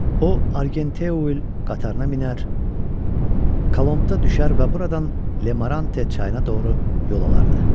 O, Argenteuil qatarına minər, Colombda düşər və buradan Lemarante çayına doğru yol alardı.